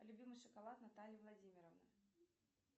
любимый шоколад натальи владимировны